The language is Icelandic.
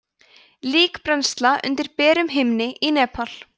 líkbrennsla undir berum himni í nepal